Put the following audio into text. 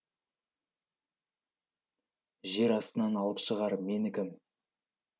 жер астынан алып шығар мені кім